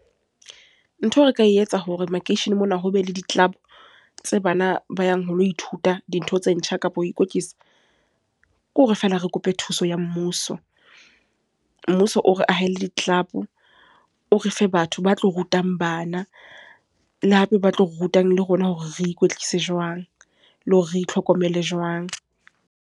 Ntho eo re ka etsa hore makeisheneng mona ho be le di-club, tse bana ba yang ho lo ithuta dintho tse ntjha kapa ho ikwetlisa. Ke hore feela re kope thuso ya mmuso. Mmuso o re ahele di-club, o re fe batho ba tlo rutang bana. Le hape ba tlo rutang le rona hore re ikwetlise jwang, le hore re itlhokomele jwang.